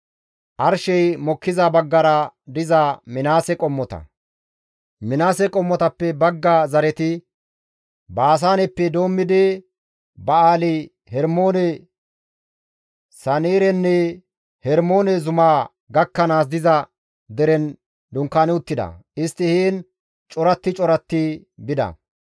Minaase qommotappe bagga zareti Baasaaneppe doommidi Ba7aali-Hermoone, Sanirenne Hermoone zumaa gakkanaas diza deren dunkaani uttida; istti heen coratti coratti bida.